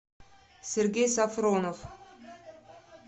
сергей сафронов